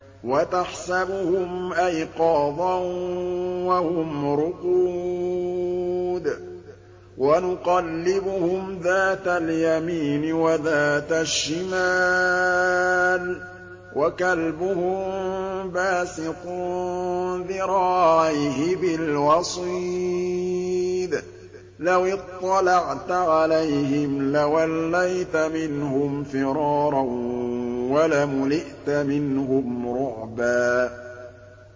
وَتَحْسَبُهُمْ أَيْقَاظًا وَهُمْ رُقُودٌ ۚ وَنُقَلِّبُهُمْ ذَاتَ الْيَمِينِ وَذَاتَ الشِّمَالِ ۖ وَكَلْبُهُم بَاسِطٌ ذِرَاعَيْهِ بِالْوَصِيدِ ۚ لَوِ اطَّلَعْتَ عَلَيْهِمْ لَوَلَّيْتَ مِنْهُمْ فِرَارًا وَلَمُلِئْتَ مِنْهُمْ رُعْبًا